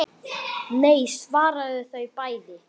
Nei svara þau bæði.